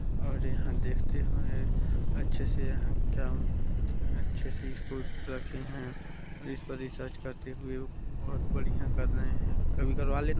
और यहाँ देखते है अच्छे से यहाँ क्या अच्छे से इसको रखे है इस पर रिसर्च करते हुवे बहुत बढ़िया कर रहे है कभी करवा लेना --